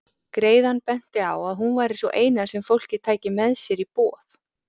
Greiðan benti á að hún væri sú eina sem fólkið tæki með sér í boð.